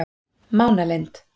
Mánalind